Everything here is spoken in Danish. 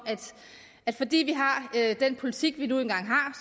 at folk fordi vi har den politik vi nu engang